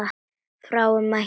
Fáir mættu.